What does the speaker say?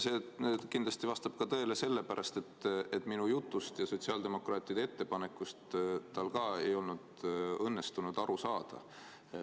See kindlasti vastab tõele ka sellepärast, et minu jutust ja sotsiaaldemokraatide ettepanekust tal ka ei olnud õnnestunud aru saada.